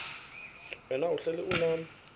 wena uhlel unam